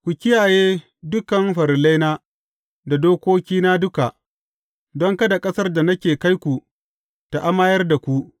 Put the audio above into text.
Ku kiyaye dukan farillaina da dokokina duka, don kada ƙasar da nake kai ku ta amayar da ku.